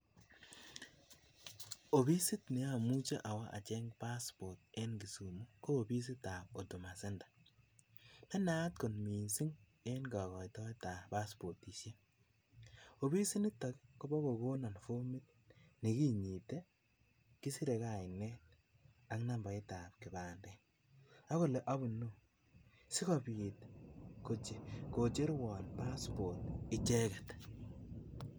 Ofisit ne amuchi awo acheng passport en Kisumu ko ofisitab Huduma centre, ne naat kot mising eng kakoitoetab paspotisiek, ofisit nito Kobo kokono fomit ne kinyite, kisire kainet ak nambaitab kipandet Sikobiit kocherwon passport icheket.